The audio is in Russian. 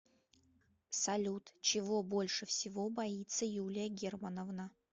салют чего больше всего боится юлия германовна